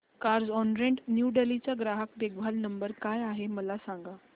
Carzonrent new Delhi चा ग्राहक देखभाल नंबर काय आहे मला सांग